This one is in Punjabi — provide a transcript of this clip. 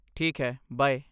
ਠੀਕ ਹੈ, ਬਾਏ।